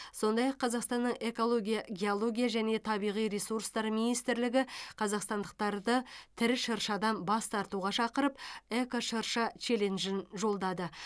сондай ақ қазақстанның экология геология және табиғи ресурстары министрлігі қазақстандықтарды тірі шыршадан бас тартуға шықырып эко шырша челленджін жолдады